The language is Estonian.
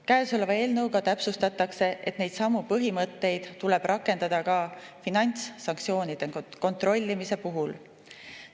Käesoleva eelnõuga täpsustatakse, et neidsamu põhimõtteid tuleb rakendada ka finantssanktsioonide kontrollimise puhul.